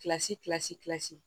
Kilasi kilasi